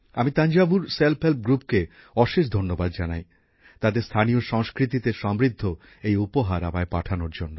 আমি তাঞ্জাভুর স্বনির্ভর গোষ্ঠীকে অশেষ ধন্যবাদ জানাই তাদের স্থানীয় সংস্কৃতিতে সমৃদ্ধ এই উপহার আমায় পাঠানোর জন্য